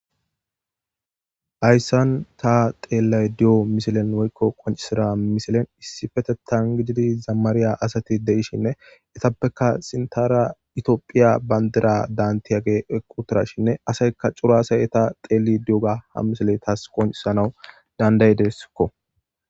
Hayisan ta teellay di'o misilen woyiko qoncisida misilen issi fetetan gijidi zamaariya asati de'ishinne etappeka sintara itiophiya bandira daantiyage equtirashinne asayka curaasay eta xeeli di'oga ha misile taas qoncisanawu dandaydeskko